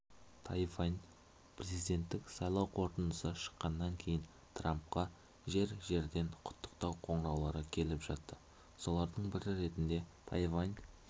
тайвань президенттік сайлау қорытындысы шыққаннан кейін трампқа жер-жерден құттықтау қоңыраулары келіп жатты солардың бірі ретінде тайвань